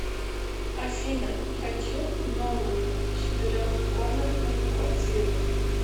афина хочу новую четырех комнатную квартиру